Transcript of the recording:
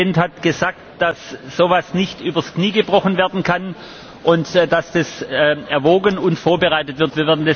Der Präsident hat gesagt, dass so etwas nicht übers Knie gebrochen werden kann und dass das erwogen und vorbereitet wird.